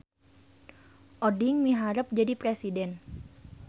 Oding miharep jadi presiden